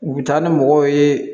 U bɛ taa ni mɔgɔw ye